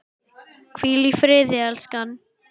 Hvíl í friði, elskan!